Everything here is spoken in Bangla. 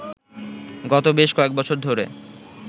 গত বেশ কয়েকবছর ধরে